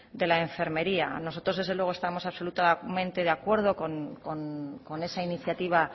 de la enfermería nosotros desde luego estamos absolutamente de acuerdo con esa iniciativa